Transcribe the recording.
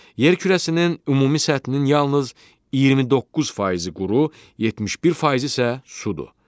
Yer kürəsinin ümumi səthinin yalnız 29 faizi quru, 71 faizi isə sudur.